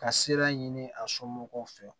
Ka sira ɲini a somɔgɔw fɛ